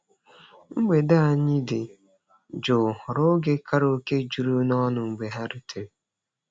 Mgbede anyị dị jụụ ghọrọ oge karaoke juru n'ọṅụ mgbe ha rutere.